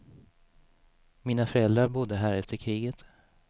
Mina föräldrar bodde här efter kriget.